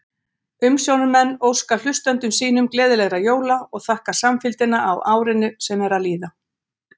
Umsjónarmenn óska hlustendum sínum gleðilegra jóla og þakka samfylgdina á árinu sem er að líða!